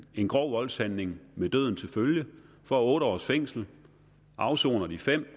grov voldshandling med døden til følge få otte års fængsel afsone de fem